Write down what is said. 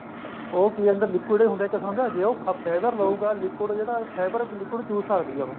ਉਹ ਕਿ ਹੁੰਦਾ liquid ਹੁੰਦਾ ਇੱਕ ਕਿਸਮ ਦਾ ਜੇ ਉਹ fiber ਲੁਗਾ liquid ਜਿਹੜਾ fiber liquid ਜਿਹੜਾ ਚੂਸ ਸਕਦੀ ਐ ਉਹ